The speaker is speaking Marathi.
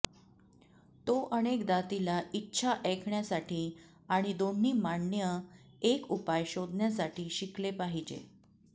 तो अनेकदा तिला इच्छा ऐकण्यासाठी आणि दोन्ही मान्य एक उपाय शोधण्यासाठी शिकले पाहिजे